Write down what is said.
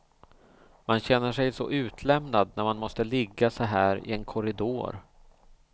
Man känner sig så utlämnad när man måste ligga så här i en korridor.